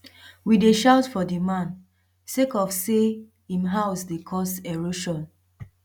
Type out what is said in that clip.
we dey shout for di man sake of sey im house dey cause erosion